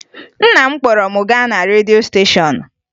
Nna m kpọrọ m gaa na redio steshọn